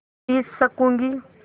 P सकँूगी